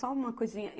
Só uma coisinha.